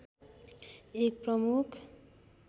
एक प्रमुख